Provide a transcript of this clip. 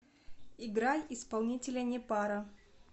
играй исполнителя непара